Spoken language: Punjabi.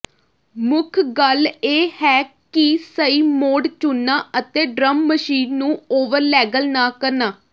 ਮੁੱਖ ਗੱਲ ਇਹ ਹੈ ਕਿ ਸਹੀ ਮੋਡ ਚੁਣਨਾ ਅਤੇ ਡਰੱਮ ਮਸ਼ੀਨ ਨੂੰ ਓਵਰਲੈਗਲ ਨਾ ਕਰਨਾ